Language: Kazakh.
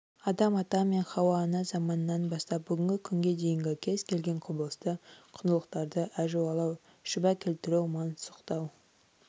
адам ата мен хауа ана заманынан бастап бүгінгі күнге дейінгі кез келген құбылысты құндылықтарды әжуалау шүбә келтіру мансұқтау